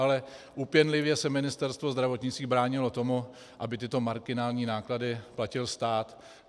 Ale úpěnlivě se Ministerstvo zdravotnictví bránilo tomu, aby tyto marginální náklady platil stát.